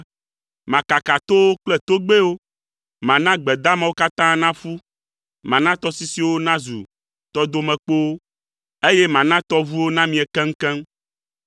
Makaka towo kple togbɛwo, mana gbe damawo katã naƒu, mana tɔsisiwo nazu tɔdomekpowo, eye mana tɔʋuwo namie keŋkeŋ.